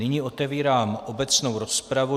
Nyní otevírám obecnou rozpravu.